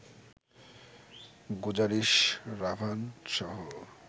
Guzaarish, রাভানসহ